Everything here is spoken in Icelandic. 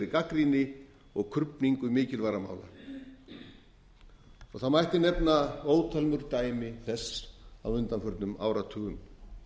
gagnrýni og krufningu mikilvægra mála það mætti nefna ótal mörg dæmi þess á undanförnum áratugum